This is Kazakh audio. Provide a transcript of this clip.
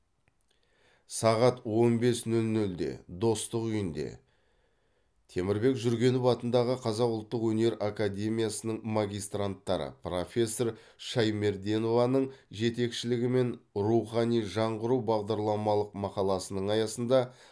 сағат он бес нөл нөлде достық үйінде темірбек жүргенов атындағы қазақ ұлттық өнер академиясының магистранттары профессор шаймерденованың жетекшілігімен рухани жаңғыру бағдарламалық мақаласының аясында